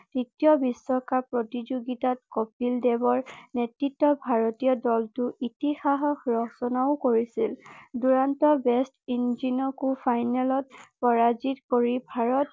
তৃতীয় বিশ্বকাপ প্ৰতিযোগিতাত ককিল দেৱৰ নেতৃত্বত ভাৰতীয় দলতো ইতিহাস ৰচনাও কৰিছিল দূৰান্ত ৱেষ্ট ফাইনেলত পৰাজিত কৰি ভাৰত